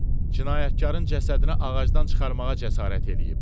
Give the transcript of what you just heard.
Cinayətkarın cəsədini ağacdan çıxarmağa cəsarət eləyib.